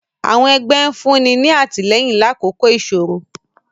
àwọn ẹgbẹ nfunni ni atilẹyin lakoko isoro.